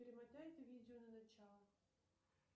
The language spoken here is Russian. перемотай это видео на начало